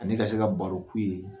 Ni ka se ka baro k"u ye